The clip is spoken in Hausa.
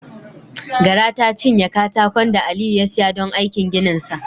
Gara ta cinye katakon da Aliyu ya siya don aikin gininsa.